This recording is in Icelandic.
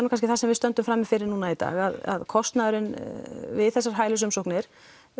nú kannski það sem við stöndum frammi fyrir núna í dag að kostnaðurinn við þessar hælisumsóknir